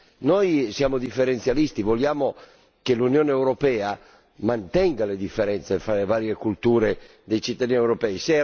Noi siamo differenzialisti vogliamo che l'Unione europea mantenga le differenze fra le varie culture dei cittadini europei.